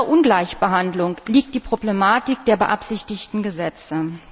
Und in dieser Ungleichbehandlung liegt die Problematik der beabsichtigten Gesetze.